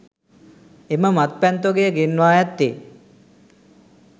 එම මත්පැන් තොගය ගෙන්වා ඇත්තේ